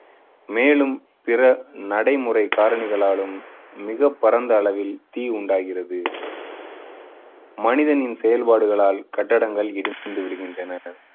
மேலும் பிற நடைமுறை காரணிகளாலும் மிகப் பரந்த அளவில் தீ உண்டாகிறது. மனிதனின் செயல்பாடுகளால் கட்டிடங்கள் இடிந்து விழுகின்றன.